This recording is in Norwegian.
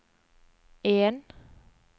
en